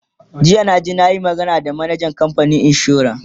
jiya na je nayi magana da manajan kamfanin insuran